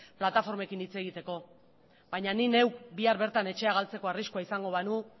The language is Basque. plataformekin hitz egiteko baina ni neuk bihar bertan etxea galtzeko arriskua izango banu